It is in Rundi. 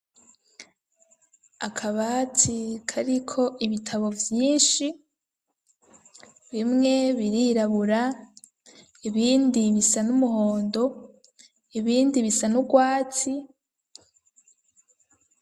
Akabati, kariko ibitabo vyinshi; bimwe birirabura, ibindi bisa n'umuhondo, ibindi bisa n'ubwatsi.